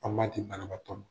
An b'a di banabatɔ ma